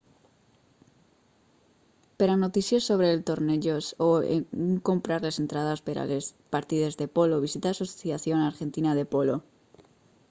per a notícies sobre els tornejos o on comprar les entrades per a les partides de polo visita asociación argentina de polo